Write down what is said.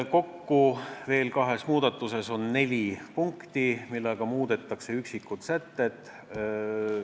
Kahes muus muudatuses on kokku neli punkti, millega muudetakse üksikuid sätteid.